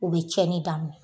o be cɛni daminɛ